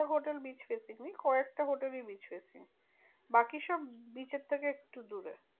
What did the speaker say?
Hotel bridge facing ওই কয়েকটা hotel ই bridge facing বাকি সব bridge এর থেকে একটু দূরে।